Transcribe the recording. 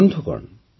ବନ୍ଧୁଗଣ